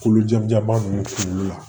Kolojɛba ninnu kunkolo la